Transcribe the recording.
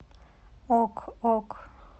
ок ок